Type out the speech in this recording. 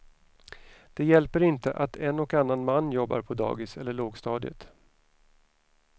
Det hjälper inte att en och annan man jobbar på dagis eller lågstadiet.